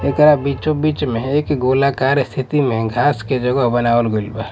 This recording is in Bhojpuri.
एकरा बीचों बीच में एक गोलाकार स्थिति में घास के जगह बनावल गइल बा--